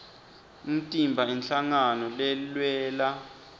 umtimba inhlangano lelwela